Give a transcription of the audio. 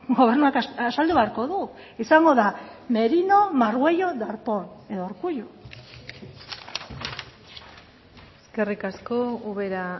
gobernuak azaldu beharko du izango da merino margüello darpón edo urkullu eskerrik asko ubera